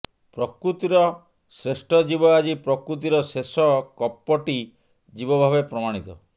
ପ୍ରକୃତିର ଶ୍ରେଷ୍ଠ ଜୀବ ଆଜି ପ୍ରକୃତିର ଶେଷ କପଟି ଜୀବ ଭାବେ ପ୍ରମାଣିତ